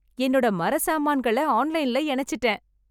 என்னோட மர சாமான்களை ஆன்லைன்ல இணைச்சுட்டேன்.